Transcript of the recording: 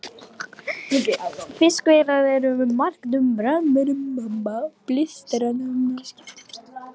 Fiskveiðar eru um margt frábrugðnar flestri annarri atvinnustarfsemi.